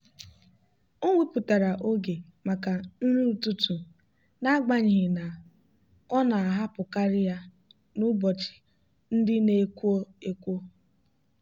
o wepụtara oge maka nri ụtụtụ n'agbanyeghị na ọ na-ahapụkarị ya n'ụbọchị ndị na-ekwo ekwo.